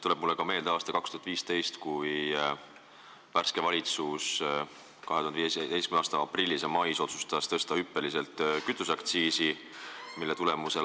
Mulle tuleb meelde aasta 2015, kui värske valitsus otsustas aprillis ja mais hüppeliselt kütuseaktsiisi tõsta.